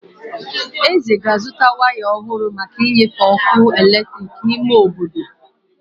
Eze ga azụta waya ọhụrụ maka nnyefe ọkụ eletrik n'ime obodo.